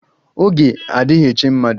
Oge adighi eche mmadụ